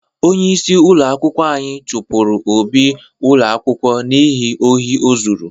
Onyeisi ụlọ akwụkwọ anyi chụpụrụ Obi ụlọ akwụkwọ n'ihi ohi o zuru.